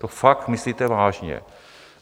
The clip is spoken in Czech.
To fakt myslíte vážně?